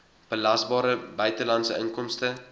belasbare buitelandse inkomste